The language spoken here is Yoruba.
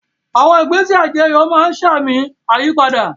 Àwọn ìgbésẹ̀ àjọyọ̀ máa ń sa àmì ìyípadà